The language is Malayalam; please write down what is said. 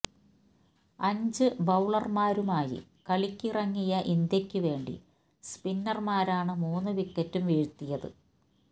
അഞ്ച് ബൌളര്മാരുമായി കളിക്കിറങ്ങിയ ഇന്ത്യക്കു വേണ്ടി സ്പിന്നര്മാരാണ് മൂന്നു വിക്കറ്റും വീഴ്ത്തിയത്